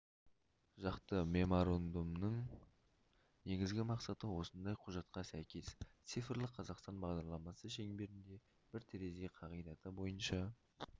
жақты меморандумның негізгі мақсаты осындай құжатқа сәйкес цифрлық қазақстан бағдарламасы шеңберінде бір терезе қағидаты бойынша